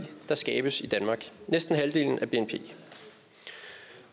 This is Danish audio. der skabes i danmark næsten halvdelen af bnp